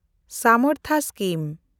ᱥᱟᱢᱮᱱᱰᱛᱷᱟ scheme